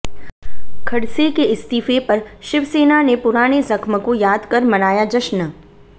खड़से के इस्तीफे पर शिवसेना ने पुराने जख्म को याद कर मनाया जश्न